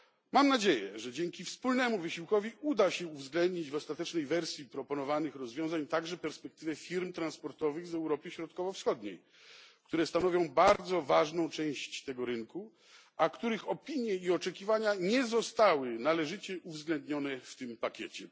Mam nadzieję, że dzięki wspólnemu wysiłkowi uda się uwzględnić w ostatecznej wersji proponowanych rozwiązań także perspektywy firm transportowych z Europy Środkowo Wschodniej, które stanowią bardzo ważną część tego rynku, a których opinie i oczekiwania nie zostały należycie uwzględnione w tym pakiecie.